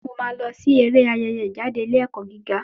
Mo máa lọ sí eré Ayẹyẹ ìjáde ilé ẹ̀kọ́ gíga.